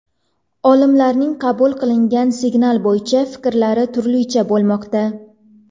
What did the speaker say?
Olimlarning qabul qilingan signal bo‘yicha fikrlari turlicha bo‘lmoqda.